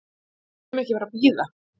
Við munum ekki bara bíða.